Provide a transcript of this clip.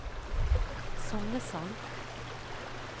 Songesand